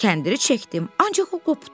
Kəndiri çəkdim, ancaq o qopdu.